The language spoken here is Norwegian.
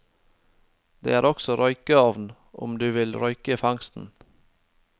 Det er også røykeovn om du vil røyke fangsten.